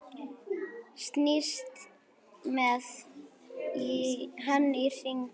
Snýst með hann í hringi.